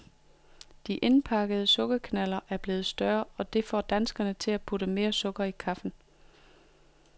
De indpakkede sukkerknalder er blevet større, og det får danskerne til at putte mere sukker i kaffen.